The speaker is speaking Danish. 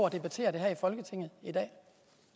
at debattere det her i folketinget i dag